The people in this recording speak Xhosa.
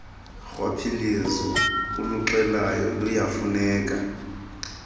rhwaphilizo uluxelayo luyafuneka